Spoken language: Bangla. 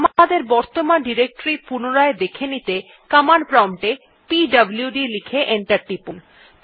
আমাদের বর্তমান ডিরেক্টরী পুনরায় দেখে নিতে কমান্ড প্রম্পট এ পিডব্লুড লিখে এন্টার টিপুন